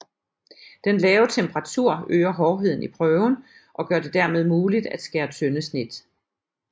Den lave temperatur øger hårdheden i prøven og gør det dermed muligt at skære tynde snit